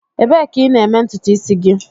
Ebee ka ị na-eme ntutu isi gị?